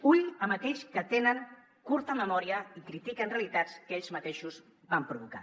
compte amb aquells que tenen curta memòria i critiquen realitats que ells mateixos van provocar